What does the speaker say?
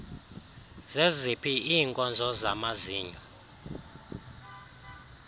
zeziphi iinkonzo zamazinyo